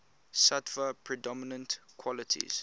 sattva predominant qualities